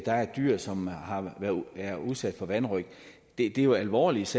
er et dyr som er udsat for vanrøgt er det jo alvorligt